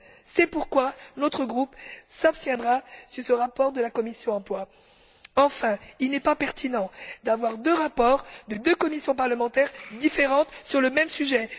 C'est pourquoi notre groupe s'abstiendra sur ce rapport de la commission de l'emploi et des affaires sociales. Enfin, il n'est pas pertinent d'avoir deux rapports de deux commissions parlementaires différentes sur le même sujet.